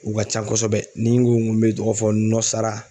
U ka can kosɛbɛ, ni n ko ŋo n bɛ tɔgɔ fɔ Nɔsara